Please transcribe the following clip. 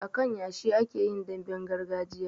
A kan yashi ake yin damben gargajiya